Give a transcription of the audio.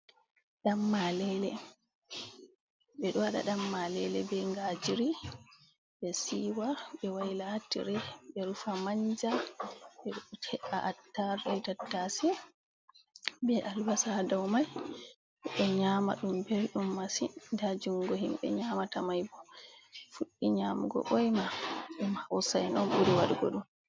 Ɗan-malele, ɓe ɗo waɗa Ɗan-malele bee ngajiri ɗe siiwa ɓe wayla haa tire ɓe rufa manja ɓe he''a attarugu bee tattaase bee albasa daw man ɓe nyaama, ɗum belɗum masin, nda junngo himɓe nyaamata man bo fuɗɗi nyaamugo boyma ɗum hawsa'en ɓuri waɗugo ɗum